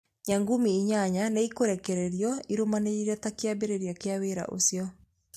Nyamũngumĩ inyanya nĩ ikũrekererio irũmanĩrĩire ta kĩambĩrĩria kĩa wĩra ũcio.